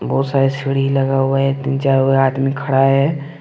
बहुत सारे सीढ़ी लगा हुआ है तीन चार गो आदमी खड़ा है।